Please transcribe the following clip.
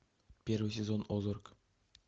первый сезон озарк